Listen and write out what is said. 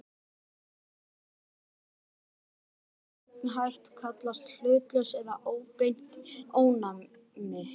Ónæmi sem fengið er með þessum hætt kallast hlutlaust eða óbeint ónæmi.